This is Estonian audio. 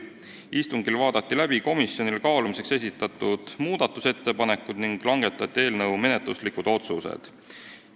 Istungil vaadati läbi komisjonile kaalumiseks esitatud muudatusettepanekud ning langetati menetluslikud otsused.